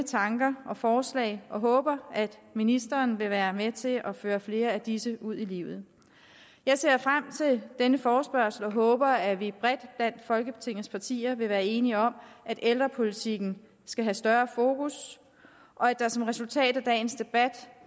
tanker og forslag og håber at ministeren vil være med til at føre flere af disse ud i livet jeg ser frem til denne forespørgsel og håber at vi bredt blandt folketingets partier vil være enige om at ældrepolitikken skal have større fokus og at der som resultat af dagens debat